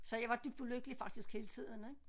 Så jeg var dybt ulykkelig faktisk hele tiden ik